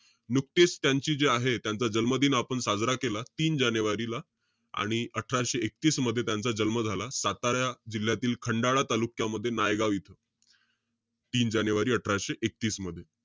नुकतीच त्यांची जे आहे, त्यांचा जन्मदिन आपण साजरा केला. तीन जानेवारीला. आणि अठराशे एकतीस मध्ये त्यांचा जन्म झाला. सातारा जिल्ह्यातील खंडाळा तालुक्यामध्ये, नायगाव येथे. तीन जानेवारी अठराशे एकतीस मध्ये.